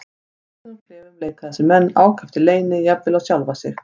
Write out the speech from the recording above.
Í lokuðum klefum leika þessir menn ákaft í leyni, jafnvel á sjálfa sig.